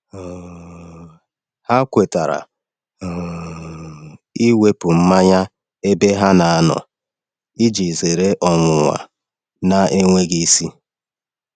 um Ha kwetara um iwepụ mmanya n’ebe ha na-anọ iji zere ọnwụnwa na-enweghị isi.